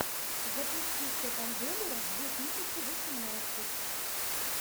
запусти степандемура две тысячи восемнадцать